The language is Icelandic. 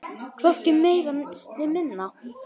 Hvorki meira né minna.